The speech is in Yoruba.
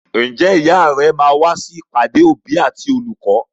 Ǹjẹ́ ìyá rẹ máa wá sí ìpàdé òbí àti olùkọ́?